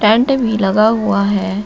Tent भी लगा हुआ है।